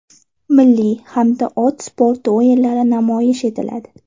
Milliy hamda ot sporti o‘yinlari namoyish etiladi.